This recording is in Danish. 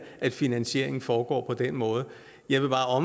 at finansieringen foregår på den måde jeg vil bare